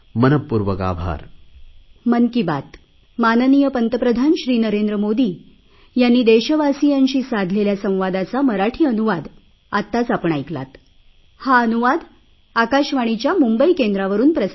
मनपूर्वक आभार